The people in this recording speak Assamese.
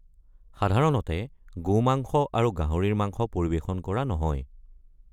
সাধাৰণতে গোমাংস আৰু গাহৰিৰ মাংস পৰিৱেশন কৰা নহয়।